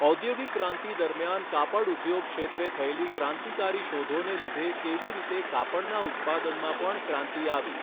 ઔધોગિક ક્રાંતિ દરમ્યાન કાપડઉધોગ ક્ષેત્રે થયેલી ક્રાંતિકારી શોધોને લીધે કેવી રીતે કાપડના ઉત્પાદનમાં પણ ક્રાંતિ આવી?